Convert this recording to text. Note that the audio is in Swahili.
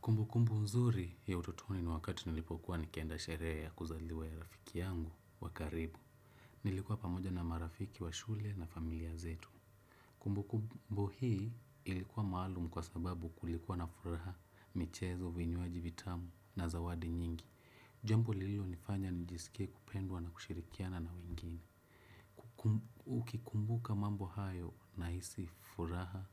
Kumbukumbu mzuri ya utotoni ni wakati nilipokuwa nikienda sherehe ya kuzaliwa ya rafiki yangu wa karibu. Nilikuwa pamoja na marafiki wa shule na familia zetu. Kumbukumbu hii ilikuwa maalumu kwa sababu kulikuwa na furaha, michezo, vinywaji, vitamu na zawadi nyingi. Jambo lilionifanya nijisike kupendwa na kushirikiana na wengine. Ukikumbuka mambo hayo nahisi furaha,